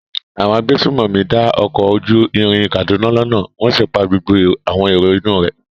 Àwọn agbésùnmọ̀mí dá ọkọ̀ ojú irin Kaduna lọ́nà wọ́n sì pa gbogbo àwọn èrò inú un rẹ̀.